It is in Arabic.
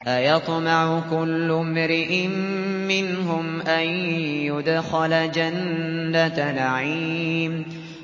أَيَطْمَعُ كُلُّ امْرِئٍ مِّنْهُمْ أَن يُدْخَلَ جَنَّةَ نَعِيمٍ